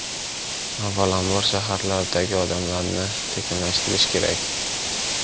Avvalam bor, shaharlardagi odamlarni sekinlashtirish kerak.